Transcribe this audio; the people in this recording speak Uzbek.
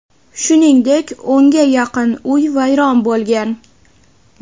shuningdek o‘nga yaqin uy vayron bo‘lgan.